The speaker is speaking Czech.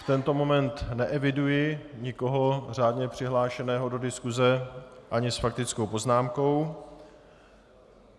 V tento moment neeviduji nikoho řádně přihlášeného do diskuse ani s faktickou poznámkou.